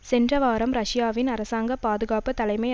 சென்ற வாரம் ரஷ்யாவின் அரசாங்க பாதுகாப்பு தலைமை